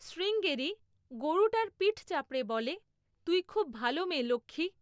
শ্রীঙ্গেরি গরুটার পিঠ চাপড়ে বলে, তুই খুব ভালো মেয়ে, লক্ষ্মী।